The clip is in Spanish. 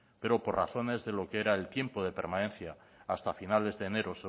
pero por razones de lo que era el tiempo de permanencia hasta finales de enero